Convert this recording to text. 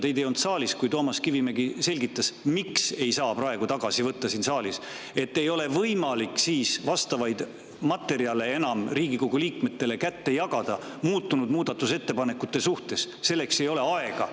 Teid ei olnud saalis, kui Toomas Kivimägi selgitas, miks ei saa neid praegu tagasi võtta siin saalis: sest ei ole enam võimalik vastavaid materjale muutunud muudatusettepanekute kohta Riigikogu liikmetele kätte jagada, selleks ei ole aega.